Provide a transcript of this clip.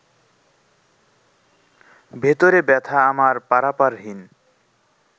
ভেতরে ব্যথা আমার পারাপারহীন